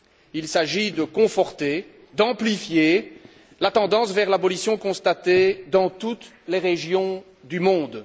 Il s'agit de conforter, d'amplifier la tendance vers l'abolition constatée dans toutes les régions du monde.